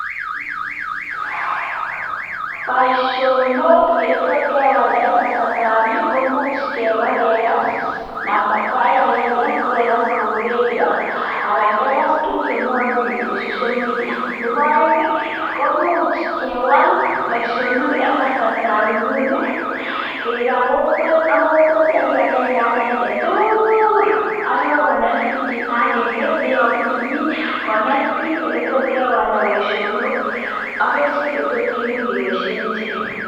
Boisionok ole to kewalda eng kasartab yu, komuch keba kekas, kou agenge kokekas eng redio anan tuguk chemwoe biik eng social media. Nebo aeng kemuch kewaal boisionok eng kasartab nguni keba kokwet akoi kokwet ak kibagenge agenge tugul asikonet biik chito agenge neyobu tumin konet biik oletot kewalda boisionok ak kerichek che terchin chemuch keboishe ichek.